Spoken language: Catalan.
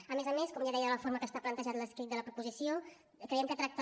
a més a més com ja deia la forma en què està plantejat l’escrit de la proposició creiem que tracta